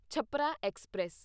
Chhapra express